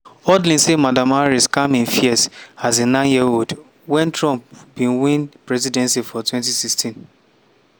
hudlin say madam harris calm im fears as a nine-year-old wen trump bin win presidency for 2016.